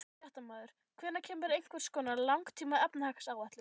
Fréttamaður: Hvenær kemur einhvers konar langtíma efnahagsáætlun?